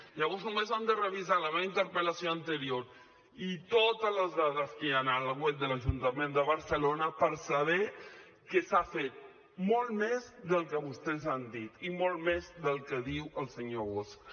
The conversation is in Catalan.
llavors només han de revisar la meva interpel·lació anterior i totes les dades que hi han al web de l’ajuntament de barcelona per saber que s’ha fet molt més del que vostès han dit i molt més del que diu el senyor bosch